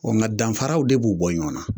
ŋa danfaraw de b'u bɔ ɲɔɔn na.